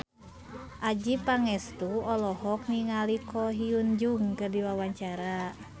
Adjie Pangestu olohok ningali Ko Hyun Jung keur diwawancara